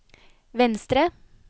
venstre